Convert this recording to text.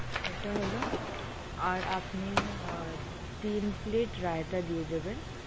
এটা হলো, আর আপনি আর তিন রায়তা দিয়ে দেবেন।